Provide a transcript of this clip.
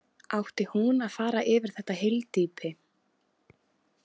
Átti hún að fara yfir þetta hyldýpi?